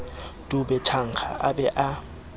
dube thankga a be a